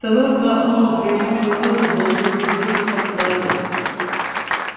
сова взмахнула крыльями взмыла в воздух беззвучно плавно